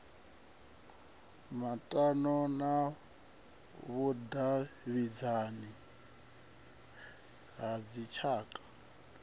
maṱano na vhudavhidzani ha dzitshaka